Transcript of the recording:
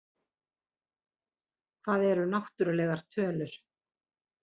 Hvað eru náttúrlegar tölur?